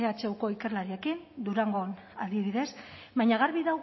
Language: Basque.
ehuko ikerlariekin durangon adibidez baina garbi